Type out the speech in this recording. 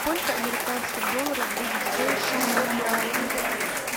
сколько американских долларов будет стоить шестьсот реалов